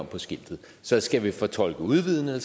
på skiltet så skal vi fortolke udvidende